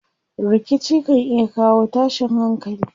Rikici kan iya kawo tashin hankali.